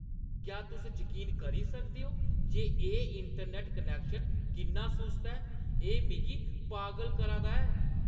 क्या तुस जकीन करी सकदे ओ जे एह् इंटरनैट्ट कनैक्शन किन्ना सुस्त ऐ? एह् मिगी पागल करा दा ऐ!